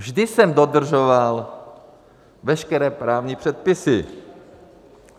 Vždy jsem dodržoval veškeré právní předpisy.